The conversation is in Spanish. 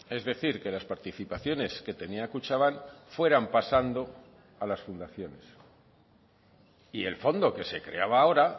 es decir que las participaciones que tenía kutxabank fueran pasando a las fundaciones y el fondo que se creaba ahora